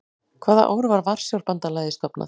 Hvaða ár var Varsjárbandalagið stofnað?